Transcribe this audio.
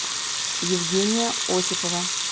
евгения осипова